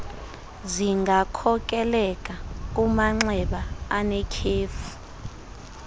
zingakhokelela kumanxeba anetyhefu